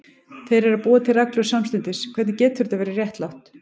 Þeir eru að búa til reglur samstundis, hvernig getur það verið réttlátt?